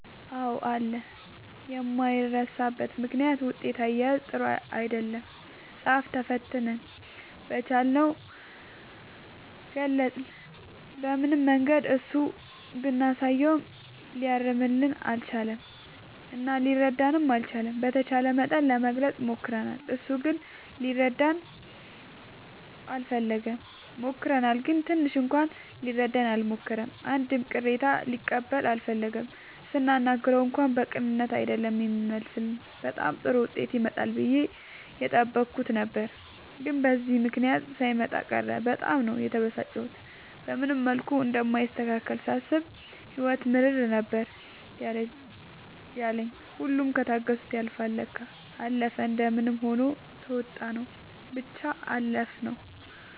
አዎ አለ የማይረሳበት ምክንያት ውጤት አያያዝ ጥሩ አይደለም ፃፍ ተፈትነን በቻልነው ገልፀን በምንም መንገድ እሱ ብናሳየውም ሊያርምልን አልቻለም እና ሊረዳንም አልቻለም። በተቻለ መጠን ለመግለፅ ሞክርናል እሱ ግን ሊረዳን አልፈለገም። ሞክረናል ግን ትንሽ እንኳን ሊረዳን አልሞከረም አንድም ቅሬታ ሊቀበል አልፈለገም ስናናግረው እንኳን በቅንነት አይደለም የሚመልስልን በጣም ጥሩ ዉጤት ይመጣል ብዬ የጠበኩት ነበር ግን በዚህ ምክንያት ሳይመጣ ቀረ በጣም ነው የተበሳጨሁት። በምንም መልኩ እንደማይስተካከልልኝ ሳስብ ህይወት ምርር ነበር ያለኝ ሁሉም ከታገሱት ያልፍል ለካ። አለፈ እንደምንም ሆኖ ተዉጣንው ብቻ አለፍነው።